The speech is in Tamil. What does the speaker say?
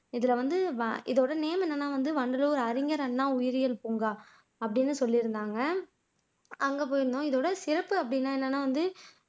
இதுல வந்து இதோட நேம் என்னன்னா வந்து வண்டலூர் அறிஞர் அண்ணா உயிரியல் பூங்கா அப்படின்னு சொல்லியிருந்தாங்க அங்க போயிருந்தோம் இதோட சிறப்பு அப்படின்னா என்னன்னா வந்து